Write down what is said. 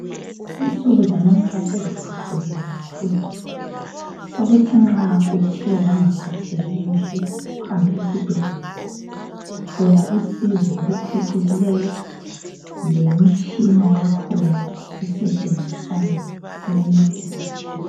Insuku zanamuhla seziphucikileyo kakhulu, sokuthi nxa uthe wangaphatheki kuhle uhambe esibhedlela uthola usizo oluphucukileyo lemitshina yakhona esentshenziswayo iyancedisa kakhulu.